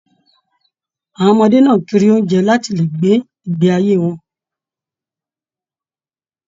Àwọn ọmọdé náà n kiri oúnjẹ láti lè gbé ìgbé ayé wọn.